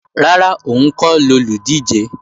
Rárá, òun kọ́ lolùdíje